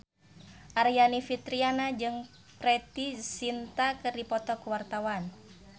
Aryani Fitriana jeung Preity Zinta keur dipoto ku wartawan